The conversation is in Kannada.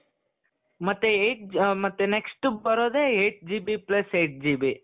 ಮತ್ತೆ eight ಅ ಮತ್ತೆ next ಬರೋದೆ eight GB plus eight GB